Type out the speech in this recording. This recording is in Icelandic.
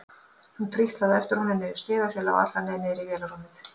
Hún trítlaði á eftir honum niður stiga sem lá alla leið niður í vélarrúmið.